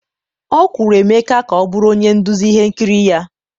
ọ kwụrụ Emeka ka ọ bụrụ onye nduzi ihe nkiri ya.